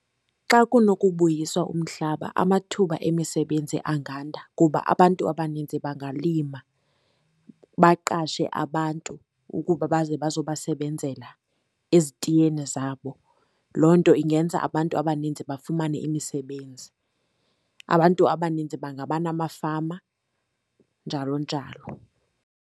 Xa kunokubuyiswa umhlaba amathuba emisebenzi anganda kuba abantu abaninzi bangalima, baqashe abantu ukuba baze bazo basebenzela ezitiyeni zabo. Loo nto ingenza abantu abaninzi bafumane imisebenzi. Abantu abaninzi bangaba namafama njalo njalo.